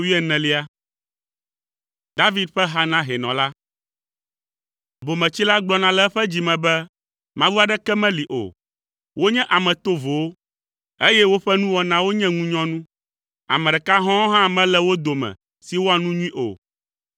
David ƒe ha na hɛnɔ la. Bometsila gblɔna le eƒe dzi me be, “Mawu aɖeke meli o.” Wonye ame tovowo, eye woƒe nuwɔnawo nye ŋunyɔnu; ame ɖeka hɔ̃ɔ hã mele wo dome si wɔa nu nyui o.